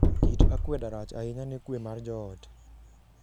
Kit akwedani rach ahinya ne kwe mar joot.